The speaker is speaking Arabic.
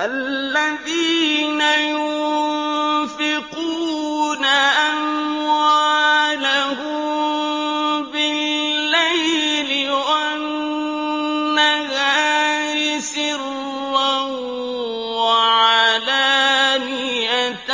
الَّذِينَ يُنفِقُونَ أَمْوَالَهُم بِاللَّيْلِ وَالنَّهَارِ سِرًّا وَعَلَانِيَةً